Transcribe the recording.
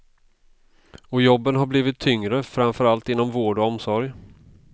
Och jobben har blivit tyngre, framför allt inom vård och omsorg.